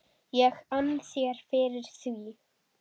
ég ann þér fyrir því.